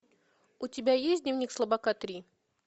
у тебя есть дневник слабака три